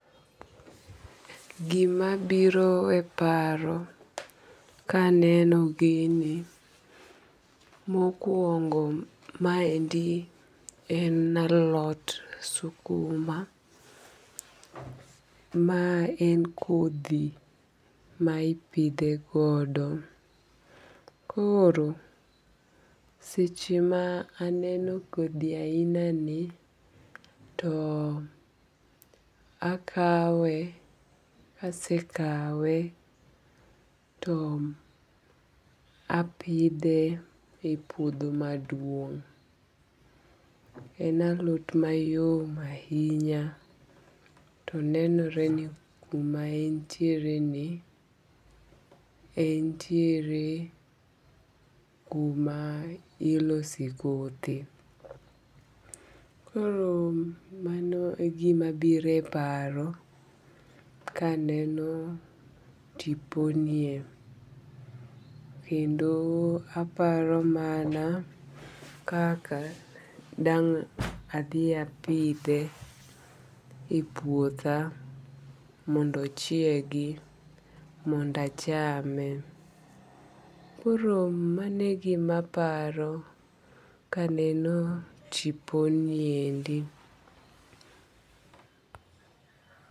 Gima biro e paro ka aneno gini, mokuongo maendi en alot sukuma. Ma en kodhi ma ipidhe godo. Koro seche ma aneno kodhi ahina ni to akawe. Kasekawe, to apidhe e puodho maduong'. En alot mayom ahinya. To nenore ni kuma entiere ni, entiere kuma ilose kothe. Koro mano e gima biro e paro kaneno tipo nie. Kendo aparo mana kaka dang' adhi apidhe e puotha mondo ochiegi mondo achame. Koro mano e gima aparo kaneno tipo niendi.